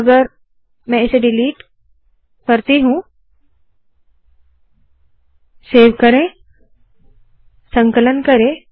तो अगर मैं ये डिलीट करती हूँ सेव करे संकलन करे